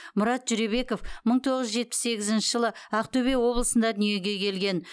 мұрат жүребеков мың тоғыз жүз жетпіс сегізінші жылы ақтөбе облысында дүниеге келген